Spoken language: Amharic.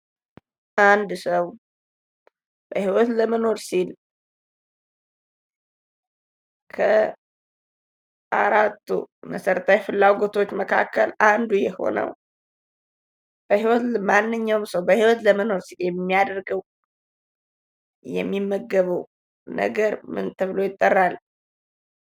አንድ ሰው በህይወት ለመኖር ሲል ከአራቱ መሰረታዊ ፍላጎቶች መካከል አንዱ የሆነው ፥ ማንኛውም ሰው በህይወት ለመኖር ሲል የሚያደርገው የሚመገበው ነገር ምን ተብሎ ይጠራል?